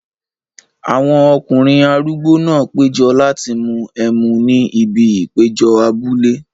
Àwọn ọkùnrin arúgbó náà péjọ láti mú ẹmu ní ibi ìpéjọ abúlé.